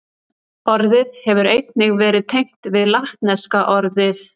Orðið hefur einnig verið tengt við latneska orðið